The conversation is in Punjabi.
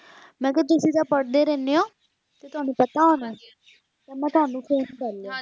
ਮੈਂ ਕਿਹਾ ਤੁਸੀਂ ਤਾ ਪੜ੍ਹਦੇ ਰਹਿਣੇ ਊ ਕਿ ਤੁਹਾਨੂੰ ਪਤਾ ਹੋਣਾ ਤਾ ਮੈਂ ਤੁਹਾਨੂੰ phone ਕਰਲਿਆ